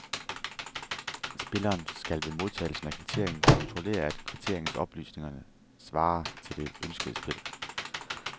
Spilleren skal ved modtagelsen af kvitteringen kontrollere, at kvitteringens oplysninger svarer til det ønskede spil.